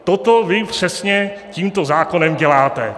Toto vy přesně tímto zákonem děláte.